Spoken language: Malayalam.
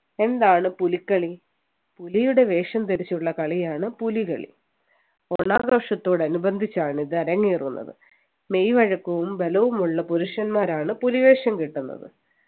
എന്താണ് പുലിക്കളി പുലിയുടെ വേഷം ധരിച്ചുള്ള കളിയാണ് പുലികളി ഓണാഘോഷത്തോടനുബന്ധിച്ചാണ് ഇത് അരങ്ങേറുന്നത് മെയ് വഴക്കവും ബലവുമുള്ള പുരുഷന്മാരാണ് പുലിവേഷം കെട്ടുന്നത്